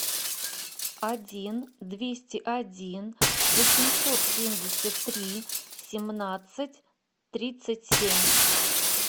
один двести один восемьсот семьдесят три семнадцать тридцать семь